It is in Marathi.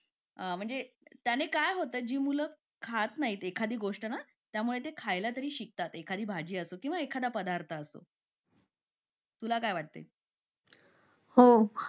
म्हणजे त्यांनी काय होतं जी मुलं खात नाहीत एखादी गोष्ट त्यामुळे ती खायला शिकतात एखादी भाजी असो किंवा एखादा पदार्थ तुला काय वाटते हो